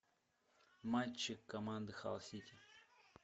матчи команды халл сити